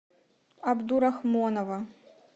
абдурахмонова